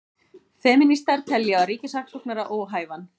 Femínistar telja ríkissaksóknara óhæfan